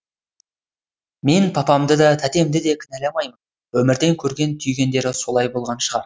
мен папамды да тәтемді де кінәламаймын өмірден көрген түйгендері солай болған шығар